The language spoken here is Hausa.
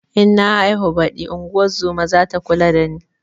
In na haihu baɗi ingozuma zata kula da ni